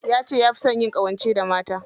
Yace yafi son yin ƙawance da mata.